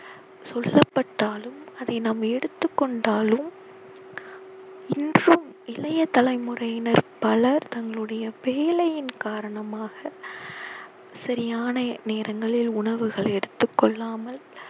சொல்லப்பட்டாலும் அதை நாம் எடுத்துக் கொண்டாலோ இன்றும் இளைய தலைமுறையினர் பலர் தங்களுடைய வேலையின் காரணமாக சரியான நேரங்களில் உணவுகளை எடுத்துக் கொள்ளாமல்